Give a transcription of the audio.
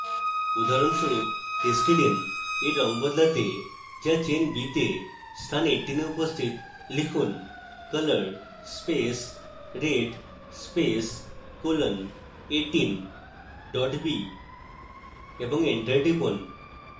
উদাহরণস্বরূপ histidine for রঙ বদলাতে যা chain b তে স্থান 18 এ উপস্থিত লিখুন color space red space colon18 b এবং এন্টার টিপুন